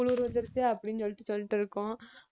குளிர் வந்துருச்சு அப்படின்னு சொல்லிட்டு சொல்லிட்டு இருக்கோம்